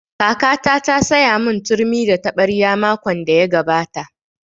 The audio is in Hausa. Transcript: Kakata ta saya mun turmi da taɓarya makon da ya gabata